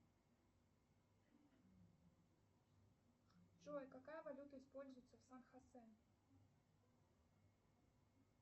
джой какая валюта используется в сан хосе